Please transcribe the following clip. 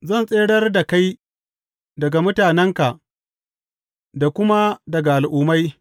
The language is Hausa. Zan tsirar da kai daga mutanenka da kuma daga Al’ummai.